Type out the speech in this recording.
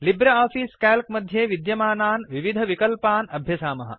Libre Office Calc मध्ये विद्यमानान् विविधविकल्पान् अभ्यसामः